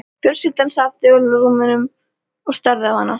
Fjölskyldan sat þögul á rúmunum og starði á hana.